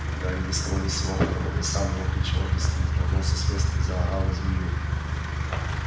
гарри ни с того ни с сего потом он и сам не мог ничего объяснить рванулся с места и заорал на змею